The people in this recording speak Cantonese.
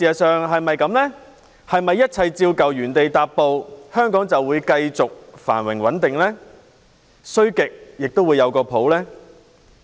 是否一切照舊，原地踏步，香港就會繼續繁榮穩定，總不會很差呢？